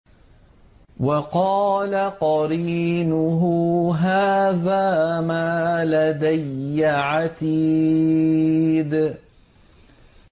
وَقَالَ قَرِينُهُ هَٰذَا مَا لَدَيَّ عَتِيدٌ